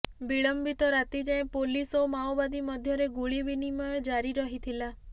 ବିଳମ୍ବିତ ରାତି ଯାଏଁ ପୋଲିସ୍ ଓ ମାଓବାଦୀ ମଧ୍ୟରେ ଗୁଳିବିନିମୟ ଜାରି ରହିଥିଲା